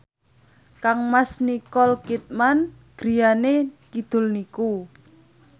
kangmas Nicole Kidman griyane kidul niku